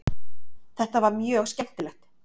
Þetta var mjög skemmtilegt